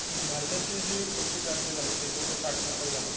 भारताची जी कृषिक्रांती झाली होती एकोणीसशे साठ नंतर झाली